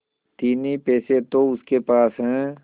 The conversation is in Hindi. तीन ही पैसे तो उसके पास हैं